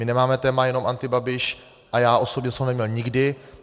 My nemáme téma jenom antibabiš a já osobně jsem ho neměl nikdy.